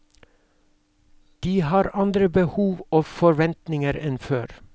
De har andre behov og forventninger enn før.